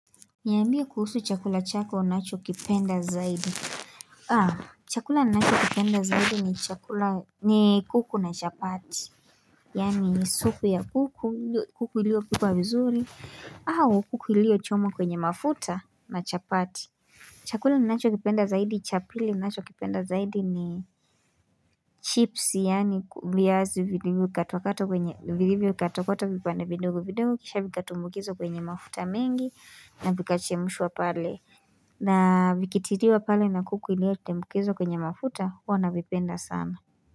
Niambie kuhusu chakula chako unacho kipenda zaidi chakula ninachokipenda zaidi ni chakula ni kuku na chapati Yaani supu ya kuku kuku iliyo pikwa vizuri au kuku iliyo chomwa kwenye mafuta na chapati Chakula ninachokipenda zaidi cha pili ninachokipenda zaidi ni chips yaani viazi vilivyo katwa katwa kwenye vilivyo katwa katwa vipande vidogo vidogo kisha vikatumbukizwa kwenye mafuta mengi na vikachemshwa pale na vikitiliwa pale na kuku iliyo tumbukizwa kwenye mafuta huwa navipenda sana.